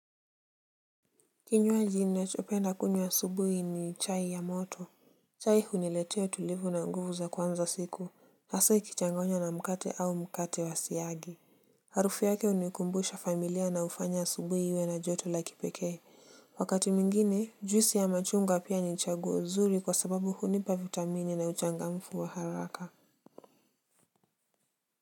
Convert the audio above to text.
Kinywaji nachopenda kunywa asubuhi ni chai ya moto. Chai huniletea utulivu na nguvu za kuanza siku hasa ikichangonya na mkate au mkate wa siagi. Harufu yake hunikumbusha familia na hufanya asubuhi iwe na joto la kipekee. Wakati mwingine juisi ya machungwa pia ni chaguo zuri kwa sababu hunipa vitamini na uchangamfu wa haraka.